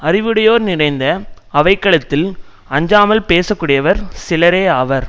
அறிவுடையோர் நிறைந்த அவை களத்தில் அஞ்சாமல் பேசக்கூடியவர் சிலரே ஆவர்